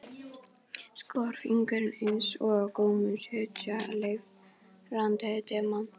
Skoðar fingurinn einsog á gómnum sitji leiftrandi demantur.